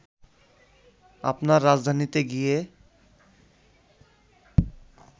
আপনার রাজধানীতে গিয়ে